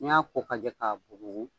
N'iy'a ko k'a jɛ k'a bugu.